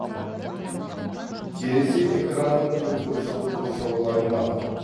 терезе экранның төртбұрышты қоршаулы аймағы